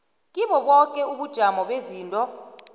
kiloboke ubujamo bezinto